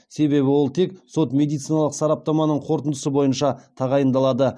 себебі ол тек сот медициналық сараптаманың қорытындысы бойынша тағайындалады